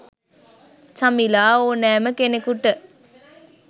චමිලා ඕනෑම කෙනෙකුට